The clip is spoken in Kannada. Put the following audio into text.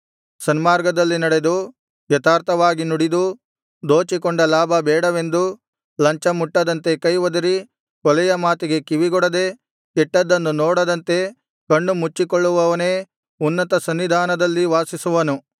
ಸನ್ಮಾರ್ಗದಲ್ಲಿ ನಡೆದು ಯಥಾರ್ಥವಾಗಿ ನುಡಿದು ದೋಚಿಕೊಂಡ ಲಾಭ ಬೇಡವೆಂದು ಲಂಚಮುಟ್ಟದಂತೆ ಕೈ ಒದರಿ ಕೊಲೆಯ ಮಾತಿಗೆ ಕಿವಿಗೊಡದೆ ಕೆಟ್ಟದ್ದನ್ನು ನೋಡದಂತೆ ಕಣ್ಣು ಮುಚ್ಚಿಕೊಳ್ಳುವವನೇ ಉನ್ನತಸನ್ನಿಧಾನದಲ್ಲಿ ವಾಸಿಸುವನು